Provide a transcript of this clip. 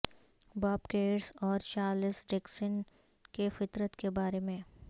باب کیئرس اور چارلس ڈیکینس کے فطرت کے بارے میں